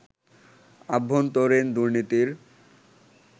আভ্যন্তরীণ দুর্নীতির